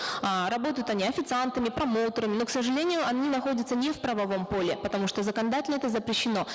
э работают они официантами промоутерами но к сожалению они находятся не в правовом поле потому что законодательно это запрещено